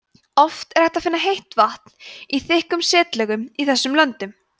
oft er hægt að finna heitt vatn í þykkum setlögum í þessum löndum